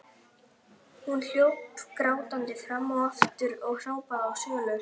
Hún hljóp grátandi fram og aftur og hrópaði á Sólu.